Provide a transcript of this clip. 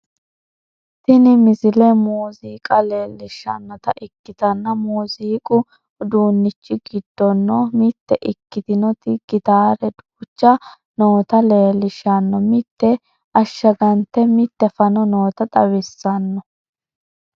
yini misile muziiqa leellishshannota ikitanna muziiqu uduunnichi giddono mitte ikkitinoti gitaare duucha noota leellishshanno mite ashshagante mite fano noota xawissanno